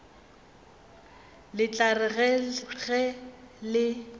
le tla re ge le